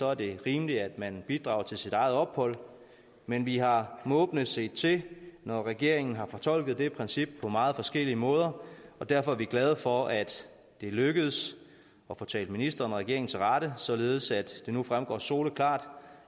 er det rimeligt at man bidrager til sit eget ophold men vi har måbende set til når regeringen har fortolket det princip på mange forskellige måder og derfor er vi glade for at det er lykkedes at få talt ministeren og regeringen til rette således at det nu fremgår soleklart